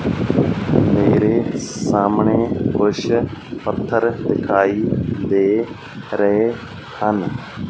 ਮੇਰੇ ਸਾਹਮਣੇ ਕੁਛ ਪੱਥਰ ਦਿਖਾਈ ਦੇ ਰਹੇ ਹਨ।